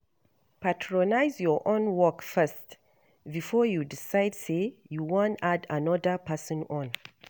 Prioritize your own work first before you decide sey you wan add anoda person own